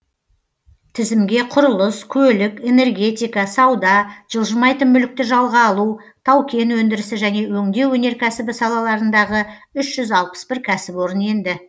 тізімге құрылыс көлік энергетика сауда жылжымайтын мүлікті жалға алу тау кен өндірісі және өңдеу өнеркәсібі салаларындағы үш жүз алпыс бір кәсіпорын енді